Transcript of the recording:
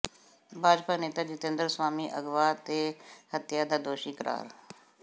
ਭਾਜਪਾ ਨੇਤਾ ਜਿਤੇਂਦਰ ਸਵਾਮੀ ਅਗਵਾ ਤੇ ਹੱਤਿਆ ਦਾ ਦੋਸ਼ੀ ਕਰਾਰ